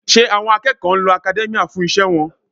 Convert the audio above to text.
Ṣé àwọn akẹ́kọ̀ọ́ ń lo academia fún iṣẹ́ wọn?